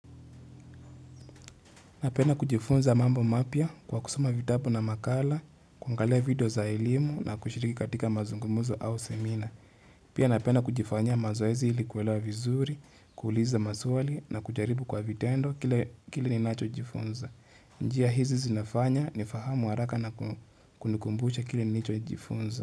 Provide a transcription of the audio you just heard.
Napena kujifunza mambo mapya kwa kusoma vitabu na makala, kuangalia video za elimu na kushiriki katika mazungumuzo au semina. Pia napenda kujifanyia mazoezi ili kuelewa vizuri, kuuliza maswali na kujaribu kwa vitendo kile ni nacho jifunza. Njia hizi zinafanya ni fahamu haraka na kunikumbusha kile ni licho jifunza.